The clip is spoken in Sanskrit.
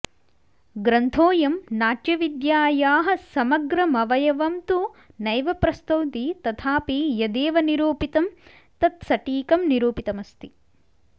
ग्रन्थोऽयं नाट्यविद्यायाः समग्रमवयवं तु नैव प्रस्तौति तथापि यदेव निरूपितं तत्सटीकं निरूपितमस्ति